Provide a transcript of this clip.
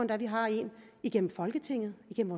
man har en igennem folketinget igennem